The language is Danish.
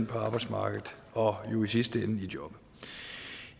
på arbejdsmarkedet og i sidste ende jo